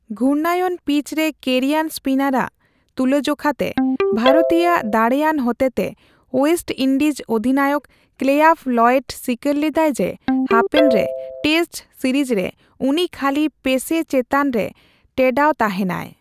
ᱜᱷᱩᱨᱱᱟᱭᱚᱱ ᱯᱤᱪᱨᱮ ᱠᱮᱨᱤᱭᱟᱱ ᱮᱥᱯᱤᱱᱟᱨ ᱟᱜ ᱛᱩᱞᱟᱹᱡᱚᱠᱷᱟ ᱛᱮ ᱵᱷᱟᱨᱚᱛᱤᱭᱟᱹᱠᱚ ᱫᱟᱲᱮᱭᱟᱱ ᱦᱚᱛᱮᱛᱮ ᱳᱭᱮᱥᱴ ᱤᱱᱰᱤᱡ ᱚᱫᱷᱤᱱᱟᱭᱚᱠ ᱠᱮᱞᱟᱭᱵᱷᱚ ᱞᱚᱭᱮᱰ ᱥᱤᱠᱟᱹᱨ ᱞᱮᱫᱟᱭ ᱡᱮ, ᱦᱟᱯᱮᱱ ᱨᱮ ᱴᱮᱥᱴ ᱥᱤᱨᱤᱡᱨᱮ ᱩᱱᱤ ᱠᱷᱟᱹᱞᱤ ᱯᱮᱥᱮ ᱪᱮᱛᱟᱱ ᱨᱮ ᱴᱮᱰᱟᱣ ᱛᱟᱸᱦᱮᱱᱟᱭ ᱾